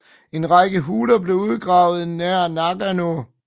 En række huler blev udgravet nær Nagano